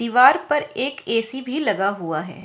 दीवार पर एक ए_सी भी लगा हुआ हैं।